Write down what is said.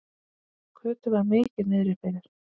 Kötu var mikið niðri fyrir.